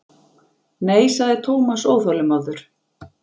Nei sagði Thomas óþolinmóður.